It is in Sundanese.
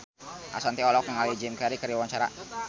Ashanti olohok ningali Jim Carey keur diwawancara